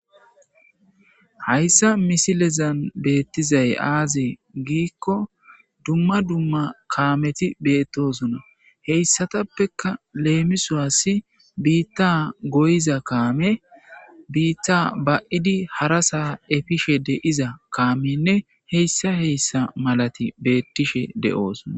Hayssa misilezan beettizay aazee giikko dumma dumma kaameti beettosona heyssatappeka leemisuwasi biitta goyiza kaame biitta ba7idi hara saa efishe de7iza kaamenne heyssa heyssa malati beettishe de'oosona.